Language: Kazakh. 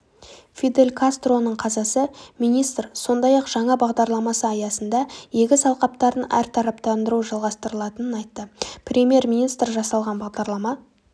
фидель кастроның қазасы министр сондай-ақ жаңа бағдарлама аясында егіс алқаптарын әртараптандыру жалғастырылатынын айтты премьер-министр жасалған бағдарлама